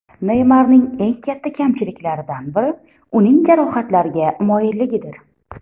Neymarning eng katta kamchiliklaridan biri – uning jarohatlarga moyilligidir.